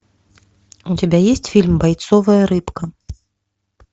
у тебя есть фильм бойцовая рыбка